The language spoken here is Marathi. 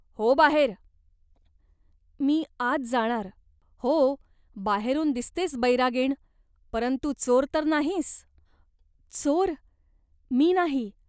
हो बाहेर." "मी आत जाणार." "हो बाहेर, दिसतेस बैरागीण, परंतु चोर तर नाहीस ? "चोर मी नाही.